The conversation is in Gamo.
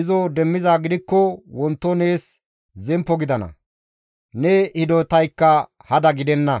izo demmizaa gidikko wonto nees zemppo gidana; ne hidotaykka hada gidenna.